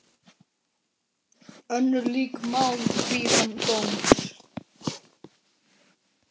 Önnur lík mál bíða dóms.